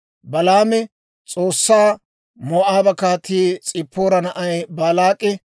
Balaami S'oossaa, «Moo'aaba Kaatii, S'ippoora na'ay Baalaak'i,